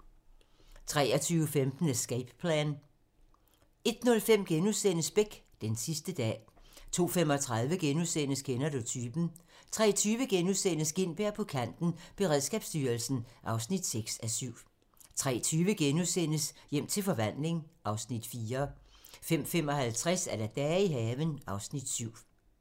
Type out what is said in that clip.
23:15: Escape Plan 01:05: Beck: Den sidste dag * 02:35: Kender du typen? * 03:20: Gintberg på kanten – Beredskabsstyrelsen (6:7)* 03:50: Hjem til forvandling (Afs. 4)* 05:55: Dage i haven (Afs. 7)